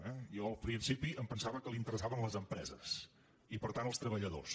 jo al principi em pensava que l’interessaven les empreses i per tant els treballadors